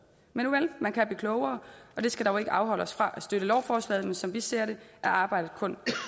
men nuvel man kan blive klogere og det skal da ikke afholde os fra at støtte lovforslaget men som vi ser det er arbejdet kun